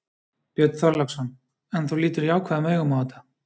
Björn Þorláksson: En þú lítur jákvæðum augum á þetta?